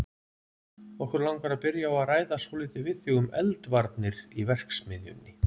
Okkur langar að byrja á að ræða svolítið við þig um eldvarnir í verksmiðjunni.